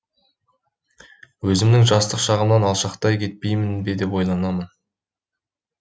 өзімнің жастық шағымнан алшақтап кетпеймін бе деп те ойлаймын